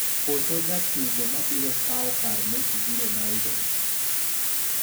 koso jatugo mabiro kaw kar Messi gi Ronaldo?